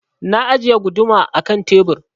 Na ajiye guduma a ƙan tebur.